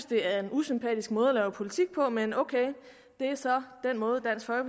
det er en usympatisk måde at lave politik på men ok det er så den måde